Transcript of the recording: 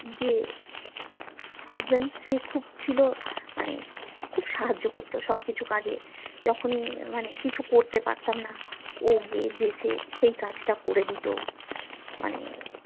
যে husband সে খুব ছিল মানে খুব সাহায্য করতো সব কিছু কাজে যখনি মানে কিছু করতে পারতাম না ও গিয়ে যেচেয়ে সে কাজটা করে দিতো মানে